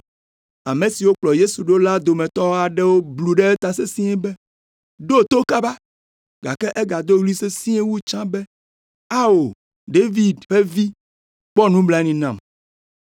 Ame siwo kplɔ Yesu ɖo la dometɔ aɖewo blu ɖe eta sesĩe be, “Ɖo to kaba!” Gake egado ɣli sesĩe wu tsã be, “Ao, David ƒe Vi, kpɔ nublanui nam.”